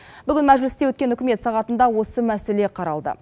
бүгін мәжілісте өткен үкімет сағатында осы мәселе қаралды